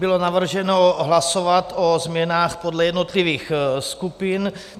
Bylo navrženo hlasovat o změnách podle jednotlivých skupin.